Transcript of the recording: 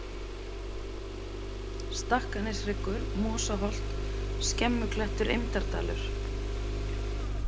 Stakkaneshryggur, Mosaholt, Skemmuklettur, Eymdardalur